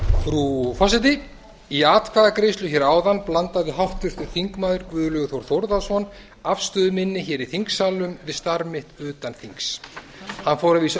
frú forseti í atkvæðagreiðslu hér áðan blandaði háttvirtur þingmaður guðlaugur þór þórðarson afstöðu minni hér í þingsalnum við starf mitt utan þings hann fór að vísu